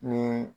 Ni